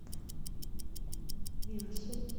мясо